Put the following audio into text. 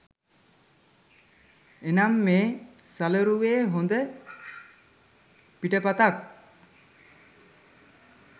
එනම් මේ සලරුවේ හොඳ පිටපතක්